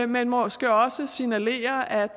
men måske også signalere at